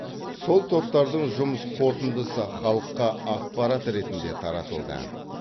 сол топтардың жұмыс қорытындысы халыққа ақпарат ретінде таратылды